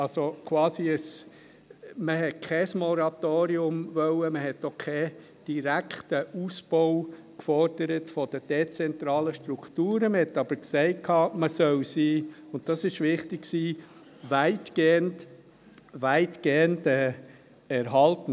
Man wollte kein Moratorium, man forderte auch keinen direkten Ausbau der dezentralen Strukturen., aber man sagte, man solle sie – und dies war wichtig – weitgehend erhalten.